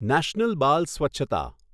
national બાલ સ્વચ્છતા